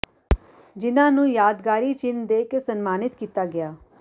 ਜਿੰਨਾਂ ਨੂੰ ਯਾਦਗਾਰੀ ਚਿੰਨ ਦੇ ਕੇ ਸਨਮਾਨਿਤ ਕੀਤਾ ਗਿਆ